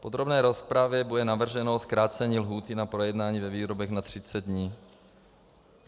V podrobné rozpravě bude navrženo zkrácení lhůty na projednání ve výborech na 30 dní.